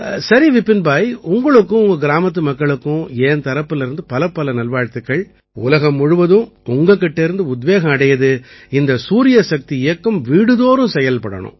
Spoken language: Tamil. சரி விபின் பாய் உங்களுக்கும் உங்க கிராமத்து மக்களுக்கும் என் தரப்பிலிருந்து பலப்பல நல்வாழ்த்துக்கள் உலகம் முழுவதும் உங்க கிட்டேர்ந்து உத்வேகம் அடையுது இந்த சூரியசக்தி இயக்கம் வீடுதோறும் செயல்படணும்